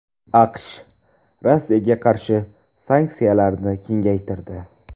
AQSh Rossiyaga qarshi sanksiyalarni kengaytirdi.